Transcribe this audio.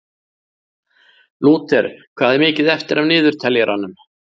Lúter, hvað er mikið eftir af niðurteljaranum?